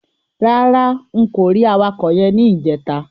Rárá n kò rí awakọ̀ yẹn ní ìjẹta.